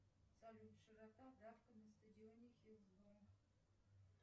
салют широта давка на стадионе хиллсборо